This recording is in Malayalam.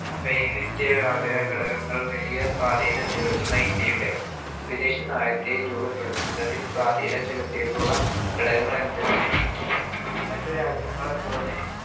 വൈവിധ്യ ഘടങ്ങൾ വലിയ സ്വാതീനം ചെലുത്തുന്ന ഇന്ത്യയുടെ വിദേശ നയത്തെ ബ രൂപപ്പെടുത്തുന്നതിൽ സ്വാധീനം ചെലുതീറ്റുള്ള ഘടകങ്ങൾ എന്തെല്ലാം മറ്റു രാജ്യങ്ങളെ പോലെ